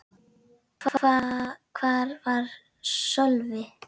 Hvar var Sölvi?